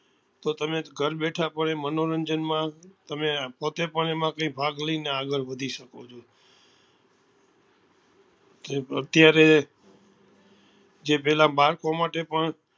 તો તમે ઘર બેઠા પણ મનોરંજન માં તમે પોતે પણ એમાં કઈ ભાગ લઇ ને આગળ વધી શકો છો તોઅત્યારે જે પેલા બાળકો માટે પણ